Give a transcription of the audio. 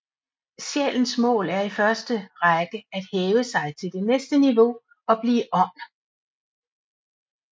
Sjælens mål er i første række at hæve sig til det næste niveau og blive ånd